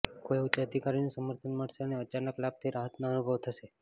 કોઈ ઉચ્ચ અધિકારીનું સમર્થન મળશે અને અચાનક લાભથી રાહતનો અનુભવ થશે